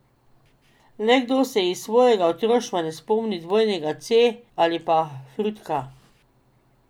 Le kdo se iz svojega otroštva ne spomni Dvojnega C ali pa Frutka?